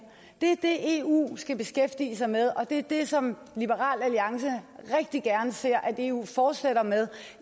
det er det eu skal beskæftige sig med og det er det som liberal alliance rigtig gerne ser at eu fortsætter med